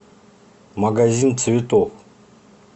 магазин цветов